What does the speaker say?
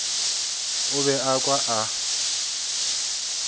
o be a kwa a